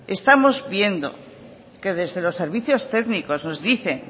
estamos viendo que desde los servicios técnicos nos dicen